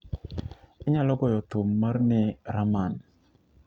inyalo goyo thum mar ni rahman